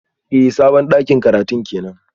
Eh sabon dakin karatun kenan